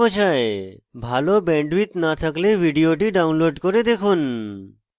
ভাল bandwidth না থাকলে ভিডিওটি download করে দেখুন